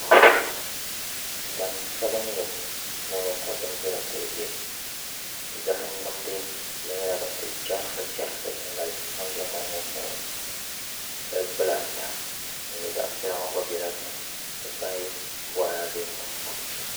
ŋmani sabinli puuni ka bindira ku bɛ zaham nimdi di nyɛla din kuli chɛrisi chɛrisi n galisi pam bɛ ŋmani ŋo puuni gali kpulaa ata din nyɛ zaɣ piɛla ŋo gba bɛla dinni n ti pahi boraadɛ nima